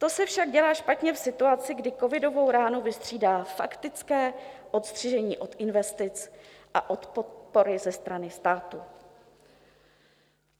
To se však dělá špatně v situaci, kdy covidovou ránu vystřídá faktické odstřižení od investic a od podpory ze strany státu.